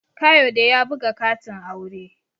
Kayode ya buga katin aure